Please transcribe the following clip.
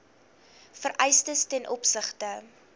vereistes ten opsigte